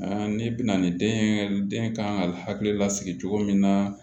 ne bɛna ni den ye den kan ka hakili lasigi cogo min na